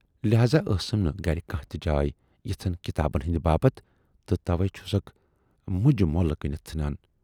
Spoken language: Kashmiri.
لٮ۪ہذا ٲسٕم نہٕ گَرِ کانہہ تہِ جاے یِژھن کِتابَن ہٕندِ باپتھ تہٕ تَوَے چھُسکھ مُجہِ مٔلۍ کٕنِتھ ژھُنان۔